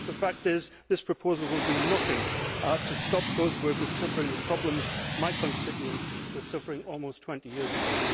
The fact is that this proposal will do nothing to stop those workers suffering the problems my constituents were suffering almost 20 years ago.